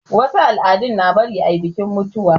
Wasu al'adu na bari ayi bikin mutuwa